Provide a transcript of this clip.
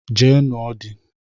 Jee nụo di!